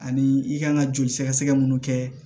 Ani i kan ka joli sɛgɛsɛgɛ mun kɛ